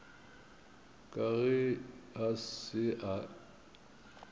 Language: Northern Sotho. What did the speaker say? ka ge a se a